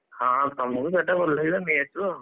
ହଁ ତମକୁ ଯୋଉଟା ଭଲ ଲାଗିଲା ନେଇ ଆସିବ ଆଉ,